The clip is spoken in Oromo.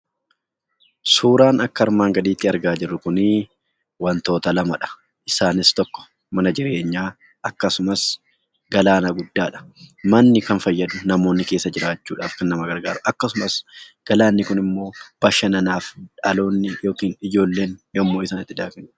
Suuraan akka armaan gadiitti argaa jirru kun wantoota lamadha. Isaanis tokko mana jireenyaa akkasumas galaana guddaadha. Manni kan fayyadu namoonni keessa jiraachuudhaaf kan nama fayyadu galaanni kunimmoo bashannaaf dhaloonni kan itti bashannanudha.